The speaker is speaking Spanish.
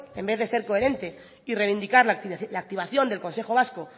en vez de ser coherente y reivindicar la activación del consejo vasco